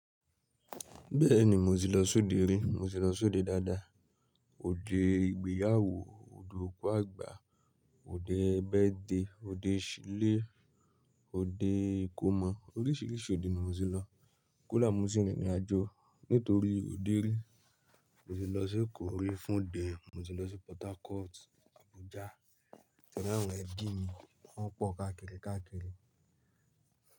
Bẹ́ẹ̀ni, mo ti lọ sóde rí, mo ti lọ sóde dáadáa. Óde ìgbéyàwó, òde òkú àgbà, òde birthday, òde ìsílé, òde ìkómọ oríṣiríṣi òde ni mo ti lọ. Kó dàá mo tì rínrìnàjò nítorí òde rí. Mo ti lọ sí Èkó rí fún òde, mo ti lọ sí Portharcourt, Abuja t'oráwọ́n ẹ̀bí mi wọ́n pọ̀ káàkiri káàkiri.